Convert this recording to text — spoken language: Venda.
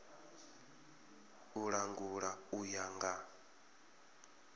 u langula u ya nga